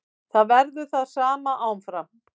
Það verður það sama áfram.